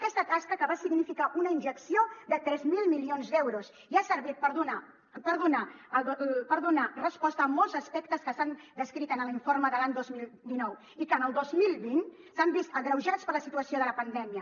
aquesta tasca que va significar una injecció de tres mil milions d’euros i ha servit per donar resposta a molts aspectes que s’han descrit en l’informe de l’any dos mil dinou i que en el dos mil vint s’han vist agreujats per la situació de la pandèmia